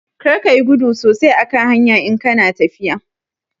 Karka yi gudu sosai a kan hanya in kana tafiya